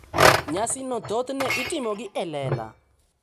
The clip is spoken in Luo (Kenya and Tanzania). Nyasigo thothne itimogi e lela.